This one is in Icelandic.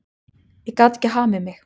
Ég gat ekki hamið mig.